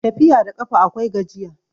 Tafiya da ƙafa akwai gajiya